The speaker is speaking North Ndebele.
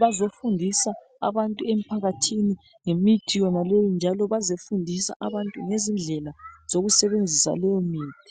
bazofundisa abantu emphakathini ngemithi yonaleyi njalo bazefundisa abantu ngezindlela zokusebenzisa leyomithi.